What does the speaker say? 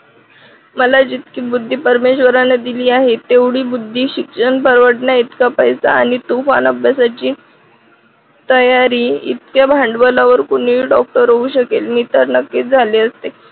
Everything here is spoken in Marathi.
मला जितकी बुद्धी परमेश्वराने दिली आहे तेवढी बुद्धी शिक्षण परवडण्या इतका पैसा आहे तुफान अभ्यासाची तयारी इतक्या भांडवलावर कोणीही डॉक्टर होऊ शकेल मी तर नक्कीच झाले असते.